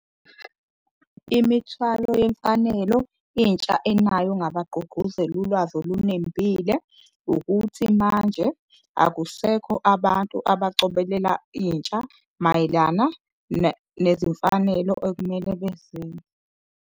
Imithwalo yemfanelo intsha enayo ngabagqugquzeli ulwazi olunembile ukuthi manje akusekho abantu abacobelela intsha mayelana nezimfanelo okumele .